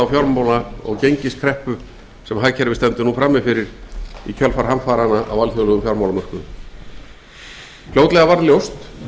fjármála og gengiskreppu sem hagkerfið stendur nú frammi fyrir í kjölfar hamfaranna á alþjóðlegum fjármálamörkuðum fljótlega varð ljóst